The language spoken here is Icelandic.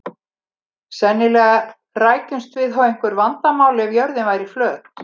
Sennilega rækjumst við á einhver vandamál ef að jörðin væri flöt.